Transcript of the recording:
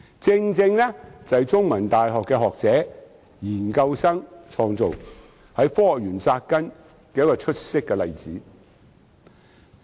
它由香港中文大學學者和研究生創造，正是一個在科學園扎根的出色例子。